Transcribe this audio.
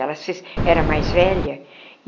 Ela era mais velha.